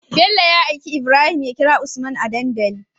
Bello ya aika ibrahim ya kira usman a dandali